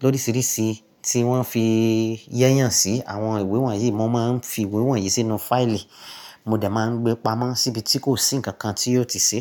lórísìírísìí tí wọ́n fi yẹ́yàn sí, àwọn ìwé wọ̀nyí mo máa ń fi ìwé wọ̀nyí sínú fáìlì. Mo de máa ń gbé pamọ́ síbi tí kò sí ǹkan kan tí yóò ti ṣe.